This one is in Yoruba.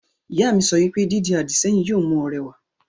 Ìyá mi yóò sọ wípé, 'Dídi àdìsẹ́yìn yóò mú ọ rẹwà'